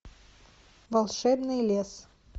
волшебный лес